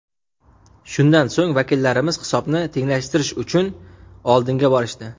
Shundan so‘ng, vakillarimiz hisobni tenglashtirish uchun oldinga borishdi.